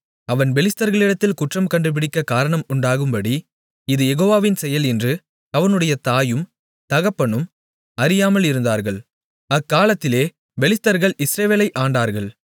அவன் பெலிஸ்தர்களிடத்தில் குற்றம் கண்டுபிடிக்கக் காரணம் உண்டாகும்படி இது யெகோவாவின் செயல் என்று அவனுடைய தாயும் தகப்பனும் அறியாமல் இருந்தார்கள் அக்காலத்திலே பெலிஸ்தர்கள் இஸ்ரவேலை ஆண்டார்கள்